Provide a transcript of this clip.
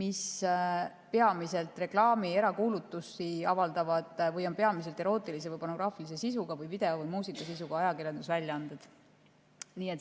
mis avaldavad peamiselt reklaami ja erakuulutusi või on peamiselt erootilise või pornograafilise sisuga või video- või muusikasisuga ajakirjandusväljaanded.